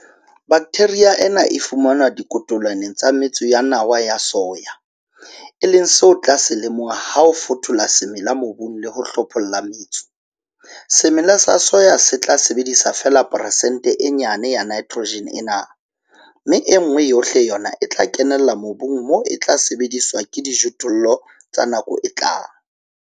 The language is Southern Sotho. Baktheria ena e fumanwa dikotolwaneng tsa metso ya nawa ya soya, e leng seo o tla se lemoha ha o fothola semela mobung le ho hlopholla metso, semela sa soya se tla sebedisa feela peresente e nyane ya nitrogen ena, mme e nngwe yohle yona e kenella mobung moo e tla sebediswa ke dijothollo tsa nako e tlang.